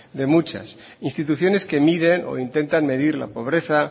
de muchas instituciones que miden o intentan medir la pobreza